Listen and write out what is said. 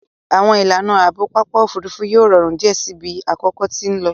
Àwọn ìlànà Ààbò Pápá òfurufú yóò rọrùn diẹ síi bí àkókò tí nlò.